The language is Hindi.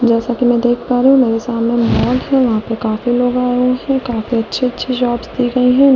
जैसा कि मैं देख पा रही हूं मेरे सामने मिल है वहां पर काफी लोग आए हुए हैं काफी अच्छी-अच्छी जॉब्स की गई ।